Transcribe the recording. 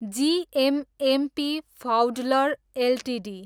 GMMP फाउडलर Ltd